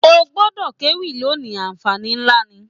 O gbọdọ kewi lóni, anfààní nlá ní!